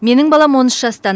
менің балам он үш жаста